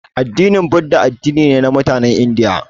Addinin budda addini ne na mutanen indiya